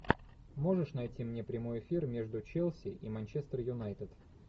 можешь найти мне прямой эфир между челси и манчестер юнайтед